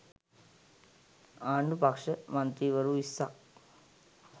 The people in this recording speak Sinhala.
ආණ්ඩු පක්ෂ මන්ත්‍රීවරු විස්සක්